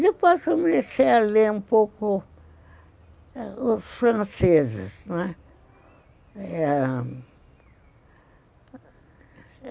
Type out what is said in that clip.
Depois comecei a ler um pouco os franceses, não é?